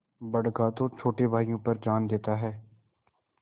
बड़का तो छोटे भाइयों पर जान देता हैं